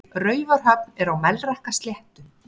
Raufarhöfn er á Melrakkasléttu.